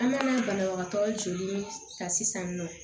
An ka banabagatɔ joli ta sisan nɔ